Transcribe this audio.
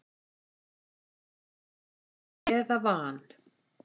eða van.